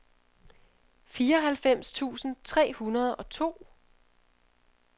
fireoghalvfems tusind tre hundrede og to